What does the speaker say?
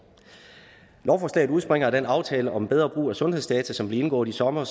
lovforslaget udspringer af den aftale om bedre brug af sundhedsdata som blev indgået i sommer